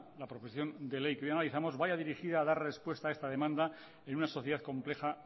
la proposición de ley que hoy analizamos vaya dirigida a dar respuesta a esta demanda en una sociedad compleja